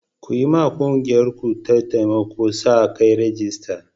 Ku yiwa ƙungiyarku ta taimakon sa-kai rajista.